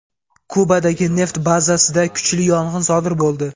Kubadagi neft bazasida kuchli yong‘in sodir bo‘ldi.